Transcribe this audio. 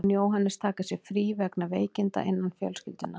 Mun Jóhannes taka sér frí vegna veikinda innan fjölskyldunnar.